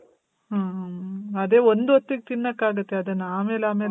ಆ, ಆ, ಮ್ಮ್. ಅದೇ ಒಂದ್ಹೊತ್ತಿಗ್ ತಿನ್ನಕ್ ಆಗುತ್ತೆ ಅದನ್ನ. ಆಮೇಲಾಮೇಲ್